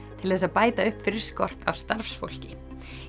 til þess að bæta upp fyrir skort á starfsfólki